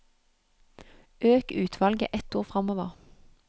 Øk utvalget ett ord framover